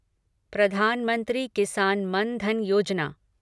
प्रधानमंत्री किसान मन धन योजना